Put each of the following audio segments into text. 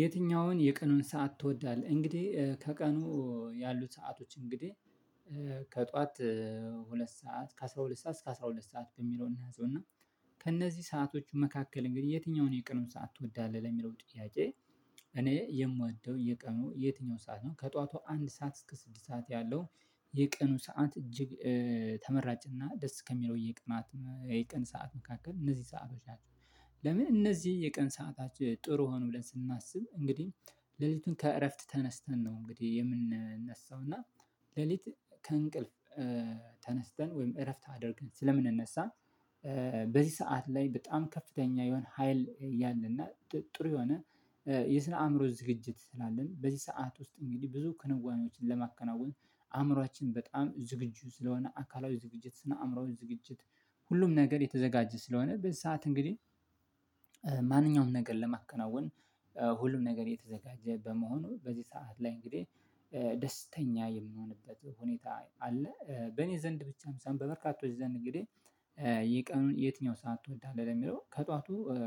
የትኛውን የቀኑን ሰዓት ትወዳለህ እንግዲህ እ ከቀኑ ያሉት ሰአቶች እንግዲህ ከጧት ሁለት ሰዓት ከአስራ ሁለት ሰዓት እስከ አስራ ሁለት ሰዓት በሚለው እንያዘው እና ከእነዚህ ሰዓቶቹ መካከል እንግዲህ የትኛውን የቀኑን ሰዓት ትወዳለህ ለሚለው ጥያቄ? እኔ የምወደው የቀኑ የትኛው ሰዓት ነው ከጧቷ አንድ ሰዓት እስከ ስድስት ሰዓት ያለው የቀኑ ሰዓት እጅግ እ ተመራጭና ደስ ከሚለው የቀናት የቀን ሰዓት መካከል እነዚህ ሰአቶች ናቸው። ለምን እነዚህ የቀን ሰአቶች ጥሩ ሆኑ ብለን ስናስብ እንግዲህ ሌሊቱን ከእረፍት ተነስተን ነው እንግዲህ የምንነሳው እና ሌሊት ከእንቅልፍ እ ተነስተን ወይም እረፍት አድርግን ስለምንነሳ እ በዚህ ሰዓት ላይ በጣም ከፍተኛ የሆነ ሀይል ያለና ጥሩ የሆነ እ የስነ አእምሮ ዝግጅት ስላለን በዚህ ሰዓት ውስጥ እንግዲህ ብዙ ክንዋኔዎችን ለማከናወን አእምሮአችን በጣም ዝግጁ ስለሆነ አካላዊ ዝግጅት ስነ አእምሮአችን ዝግጅት ሁሉም ነገር የተዘጋጀ ስለሆነ በዚህ ሰዓት እንግዲህ እ ማንኛውም ነገር ለማከናወን ሁሉም ነገር የተዘጋጀ በመሆኑ በዚህ ሰዓት ላይ እንግዲህ እ ደስተኛ የሚንሆንበት ሁኔታ አለ በኔ ዘንድ ብቻም በበርካቶች ዘንድ እንግዲህ። የቀኑን የትኛውን ሰዓት ትወዳለህ ለሚለው ከጧቱ እ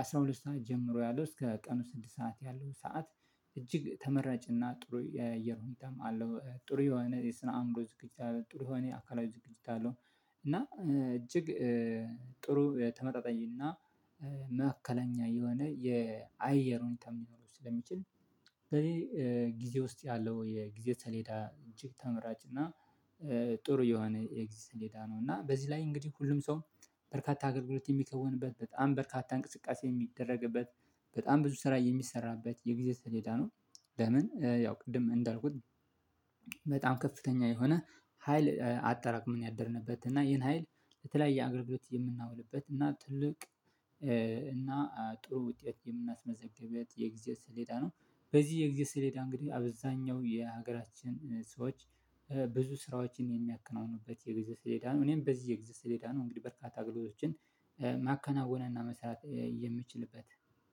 አስራ ሁለት ሰዓት ጀምሮ ያለው እስከ ቀኑ ስድስት ሰዓት ያለው ሰዓት እጅግ ተመራጭና ጥሩ የአየር ሁኔታም አለው ጥሩ የሆነ የስነ አምሮ ዝግጅት አለው ጥሩ ሆነ የአካላዊ ዝግጅት አለው። እና እጅግ ጥሩ ተመጣጣኝና እ መካከለኛ የሆነ የአየር ሁኔታ ሊኖረው ስለሚችል ስለዚህ እ ጊዜ ውስጥ ያለው የጊዜ ሰሌዳ እጅግ ተመራጭ እና እ ጥሩ የሆነ የጊዜ ሰሌዳ ነው። እና በዚህ ላይ እንግዲህ ሁሉም ሰው በርካታ አገልግሎት የሚከውንበት በጣም በርካታ እንቅስቃሴ የሚደረግበት በጣም ብዙ ስራ የሚሰራበት የጊዜ ሰሌዳ ነው። ለምን ያው ቅድም እንዳልኩት በጣም ከፍተኛ የሆነ ሀይል አጠራቅመን ያደርንበት እና ይሄን ሀይል ለተለያየ አገልግሎት የምናውልበት እና ትልቅ እ እና ጥሩ ውጤት የምናስመዘግበት የጊዜ ስሌዳ ነው። በዚህ የጊዜ ስሌዳ እንግዲህ አብዛኛው የሀገራችን ሰዎች ብዙ ስራዎችን የሚያከናውኑበት የጊዜ ስሌዳ ነው እኔም በዚህ የጊዜ ስሌዳ ነው እንግዲህ በርካታ አገልግሎቶችን ማከናወንና መስራት የምችልበት